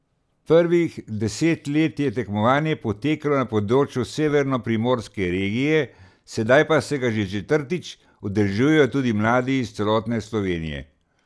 Prvih deset let je tekmovanje potekalo na področju severnoprimorske regije, sedaj pa se ga že četrtič udeležujejo mladi iz celotne Slovenije.